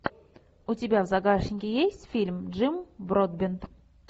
у тебя в загашнике есть фильм джим бродбент